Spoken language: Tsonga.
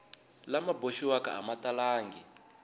lama boxiwaka a ma talangi